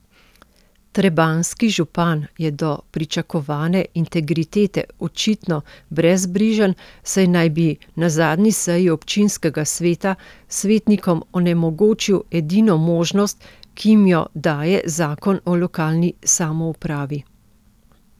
Trebanjski župan je do pričakovane integritete očitno brezbrižen, saj naj bi na zadnji seji občinskega sveta svetnikom onemogočil edino možnost, ki jim jo daje Zakon o lokalni samoupravi.